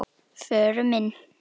Förum inn.